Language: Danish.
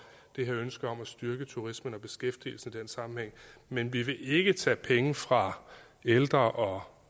det her ønske om at styrke turismen og beskæftigelsen i den sammenhæng men vi vil ikke tage penge fra ældre og